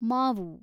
ಮಾವು